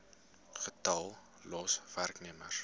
getal los werknemers